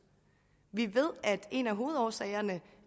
vi ved at en af hovedårsagerne